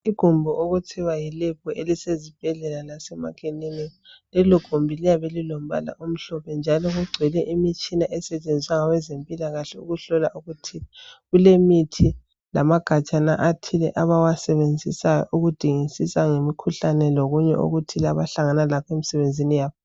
Igumbi okuthiwa yilebhu elisezibhedlela lasemakilinika. Lelogumbi liyabe lilombala omhlophe njalo kugcwele imitshina esetshenziswa ngabezempilakahle ukuhlola okuthile. Kulemithi lamagajana athile abawasebenzisa ukudingisisa ngemikhuhlane lokunye okuthile abahlangana lakho emsebenzini yabo.